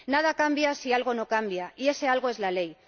Nada cambia si algo no cambia, y ese algo es la ley.